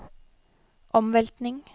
omveltning